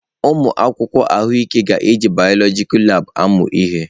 Ụmụ akwụkwọ ahụike ga-eji biọloji labụ amụ ihe.